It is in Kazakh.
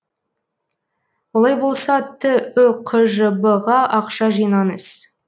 олай болса түқжб ға ақша жинаңыз